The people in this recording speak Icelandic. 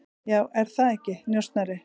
Já, er það ekki, njósnari?